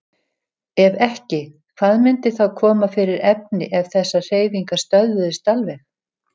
Ef ekki, hvað myndi þá koma fyrir efni ef þessar hreyfingar stöðvuðust alveg?